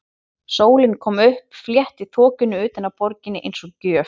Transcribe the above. Sólin kom upp, fletti þokunni utan af borginni eins og gjöf.